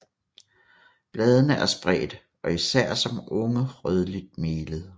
Bladene er spredte og især som unge rødligt melede